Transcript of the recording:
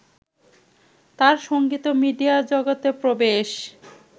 তাঁর সঙ্গীত ও মিডিয়া জগতে প্রবেশ